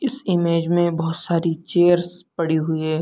इस इमेज में बहुत सारी चेयर्स पड़ी हुई है।